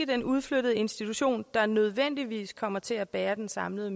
den udflyttede institution der nødvendigvis kommer til at bære den samlede